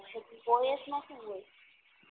પછી O S માં સુ હોય